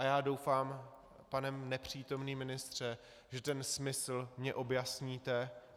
A já doufám, pane nepřítomný ministře, že ten smysl mi objasníte.